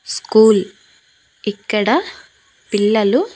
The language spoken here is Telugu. స్కూల్ ఇక్కడ పిల్లలు.